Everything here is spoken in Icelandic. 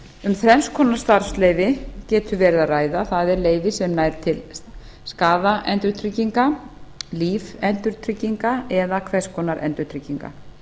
um þrenns konar starfsleyfi getur verið að ræða það er leyfi sem nær til skaðaendurtrygginga lífendurtrygginga eða hvers konar endurtrygginga